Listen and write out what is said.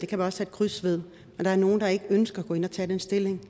kan sætte kryds ved men der er nogle der ikke ønsker at gå ind og tage stilling